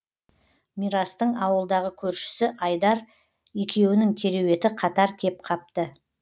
мирастың ауылдағы көршісі айдар екеуінің кереуеті қатар кеп қапты